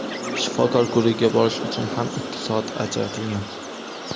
Shifokor ko‘rigiga borish uchun ham ikki soat ajratilgan.